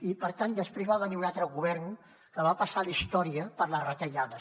i per tant després va venir un altre govern que va passar a la història per les retallades